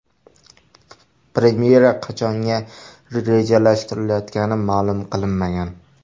Premyera qachonga rejalashtirilayotgani ma’lum qilinmagan.